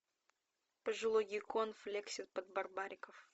пожилой геккон флексит под барбариков